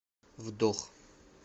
вдох